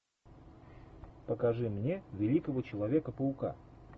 покажи мне великого человека паука